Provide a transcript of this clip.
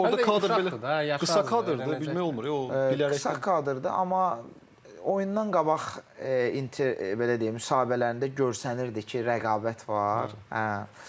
Çünki orda kadr belə Qısa kadrda bilmək olmur bilə bilə qısa kadrdır amma oyundan qabaq belə deyim müsahibələrində görsənirdi ki, rəqabət var.